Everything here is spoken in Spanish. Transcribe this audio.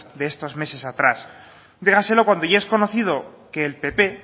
de estos meses atrás dígaselo cuando ya has conocido que el pp